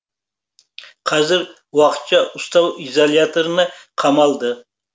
қазір уақытша ұстау изоляторына қамалды